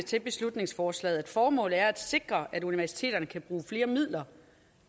til beslutningsforslaget at formålet er at sikre at universiteterne kan bruge flere midler